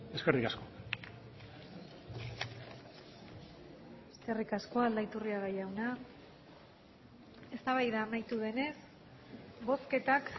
eskerrik asko eskerrik asko aldaiturriaga jauna eztabaida amaitu denez bozketak